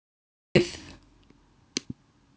Bara til að fá frið.